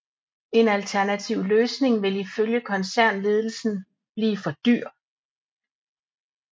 En alternativ løsning vil i følge koncernledelsen blive for dyr